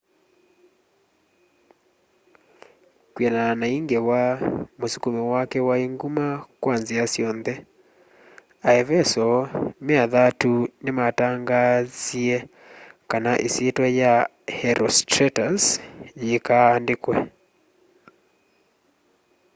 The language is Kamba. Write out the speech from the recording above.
kwianana na i ngewa musukumo wake wai nguma kwa nzia syonthe aeveso me athatu ni matangaanzie kana isyitwa ya herostratus yiikaa andikwe